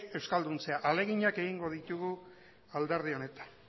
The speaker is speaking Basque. euskalduntzea ahaleginak egingo ditugu alderdi honetan